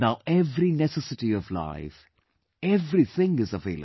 Now every necessity of life... everything is available